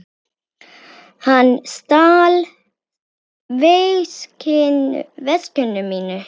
Hann stal veskinu mínu.